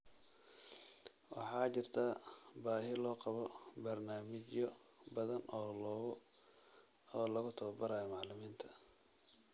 Waxaa jirta baahi loo qabo barnaamijyo badan oo lagu tababarayo macallimiinta .